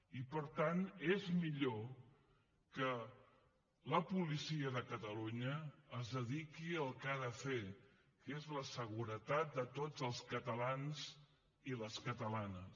i per tant és millor que la policia de catalunya es dediqui al que ha de fer que és la seguretat de tots els catalans i les catalanes